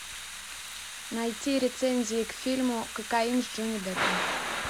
найти рецензии к фильму кокаин с джонни деппом